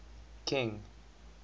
king